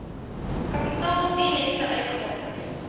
kapitaal direkte uitgawes